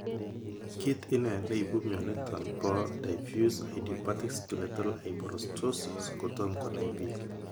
Kit ine ne ipu mioniton po Diffuse idiopathic skeletal hyperostosis kotom konai pik.